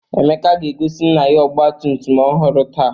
Emeka ga-egosi nna ya ọgbatumtum ọhụrụ taa.